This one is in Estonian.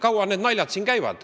Kaua need naljad siis käivad?